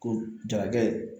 Ko jarakɛ